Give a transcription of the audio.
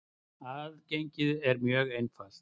Aðgengið er mjög einfalt.